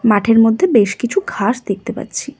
মাঠের মধ্যে বেশ কিছু ঘাস দেখতে পাচ্ছি।